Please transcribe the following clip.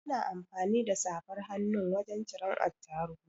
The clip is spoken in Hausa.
Ana amfani da safar hannun wajan ciran Attahiru